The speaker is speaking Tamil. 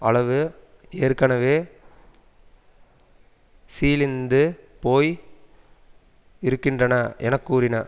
அளவு ஏற்கனவே சீழிந்து போய் இருக்கின்றன என கூறின